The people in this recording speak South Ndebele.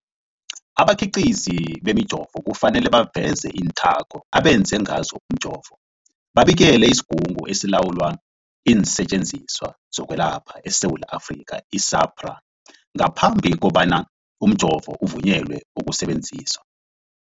Abakhiqizi bemijovo kufanele baveze iinthako abenze ngazo umjovo, babikele isiGungu esiLawula iinSetjenziswa zokweLapha eSewula Afrika, i-SAHPRA, ngaphambi kobana umjovo uvunyelwe ukusebenza.